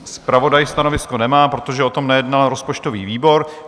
Zpravodaj stanovisko nemá, protože o tom nejednal rozpočtový výbor.